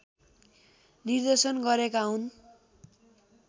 निर्देशन गरेका हुन्